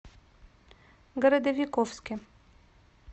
городовиковске